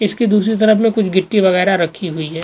इसकी दूसरी तरफ में कुछ गिट्टी वगैरह रखी हुई है।